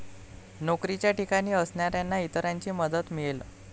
नोकरीच्या ठिकाणी असणाऱ्यांना इतरांची मदत मिळेल.